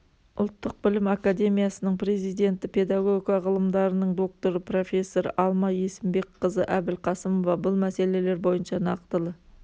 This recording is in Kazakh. ұлттық білім академиясының президенті педагогика ғылымдарының докторы профессор алма есімбекқызы әбілқасымова бұл мәселелер бойынша нақтылы